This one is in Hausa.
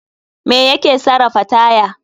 Me ya ke sarafa taya?